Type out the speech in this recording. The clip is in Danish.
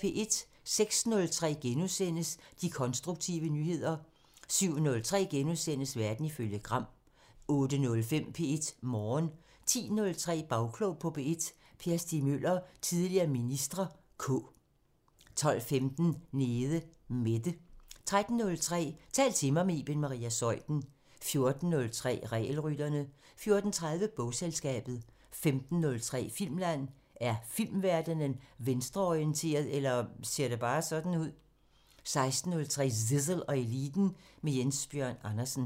06:03: De konstruktive nyheder * 07:03: Verden ifølge Gram * 08:05: P1 Morgen 10:03: Bagklog på P1: Per Stig Møller, tidligere minister (K) 12:15: Nede Mette 13:03: Tal til mig – med Iben Maria Zeuthen 14:03: Regelrytterne 14:30: Bogselskabet 15:03: Filmland: Er filmverdenen venstreorienteret – eller ser det bare sådan ud? 16:03: Zissel og Eliten: Med Jens Bjørn Andersen